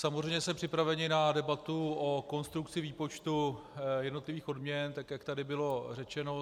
Samozřejmě jsme připraveni na debatu o konstrukci výpočtu jednotlivých odměn, tak jak tady bylo řečeno.